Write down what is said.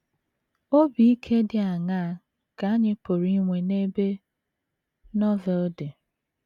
Obi ike dị aṅaa ka anyị pụrụ inwe n’ebe Novel dị?